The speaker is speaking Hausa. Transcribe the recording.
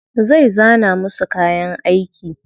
Zai zana musu kayan aiki.